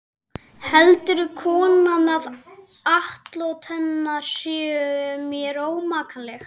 Heldur konan að atlot hennar séu mér ómakleg?